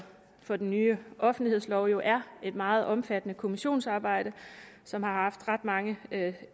for den nye offentlighedslov jo er et meget omfattende kommissionsarbejde som har haft ret mange